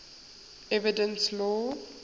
evidence law